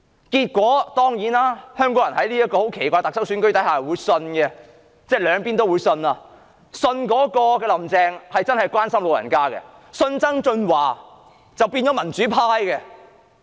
結果，香港人在這個奇怪的特首選舉下，竟然兩邊也相信，他們相信"林鄭"真的會關心長者，也相信曾俊華會變成民主派。